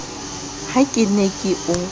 ha ke ne ke o